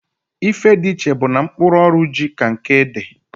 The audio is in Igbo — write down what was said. Ife di iche bu na mkpụrụ ọrụ ji ka nke ede.